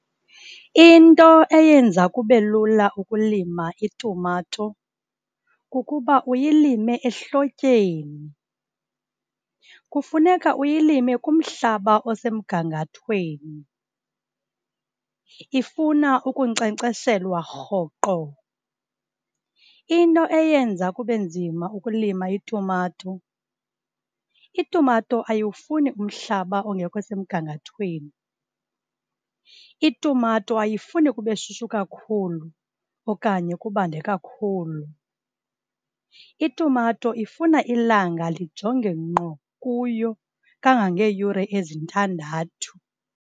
Into eyenza kube lula ukulima itumato, kukuba uyilime ehlotyeni. Kufuneka uyilime kumhlaba osemgangathweni. Ifuna ukunkcenkceshelwa rhoqo. Into eyenza kube nzima ukulima itumato, itumato ayiwufuni umhlaba ongekho semgangathweni. Itumato ayifuni kube shushu kakhulu okanye kubanda kakhulu. Itumato ifuna ilanga lijonge ngqo kuyo, kangangeeyure ezintandathu.